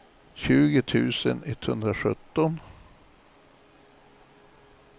tjugo tusen etthundrasjutton